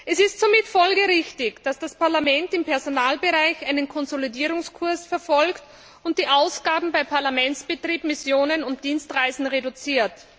Es ist somit folgerichtig, dass das Parlament im Personalbereich einen Konsolidierungskurs verfolgt und die Ausgaben bei Parlamentsbetrieb, Missionen und Dienstreisen reduziert.